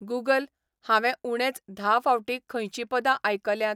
Google, हांवे उणेंच धा फावटीं खंयचीं पदां आयकल्यात